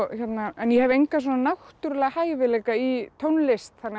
ég hef enga náttúrulega hæfileika í tónlist þannig að